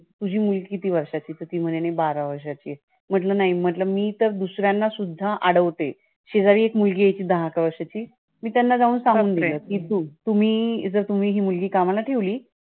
तुझी मुलगी किती वर्षाची? तर ती म्हणे बारा वर्षाची. म्हटलं नाही. म्हटलं मी तर दुसऱ्यांना सुद्धा अडवते. शेजारी एक मुलगी आहे दहा अकरा वर्षाची. मी त्यांना जाऊन सांगून दिलं की जर तुम्ही तुम्ही ही मुलगी कामाला ठेवली